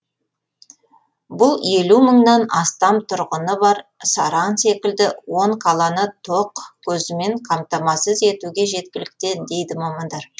бұл елу мыңнан астам тұрғыны бар саран секілді он қаланы тоқ көзімен қамтамасыз етуге жеткілікті дейді мамандар